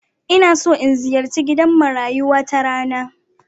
Ina so in ziyarci gidan marayu wata rana.